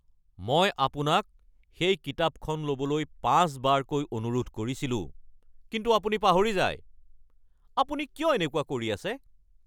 মই আপোনাক সেই কিতাপখন ল'বলৈ পাঁচবাৰকৈ অনুৰোধ কৰিছিলোঁ কিন্তু আপুনি পাহৰি যায়, আপুনি কিয় এনেকুৱা কৰি আছে?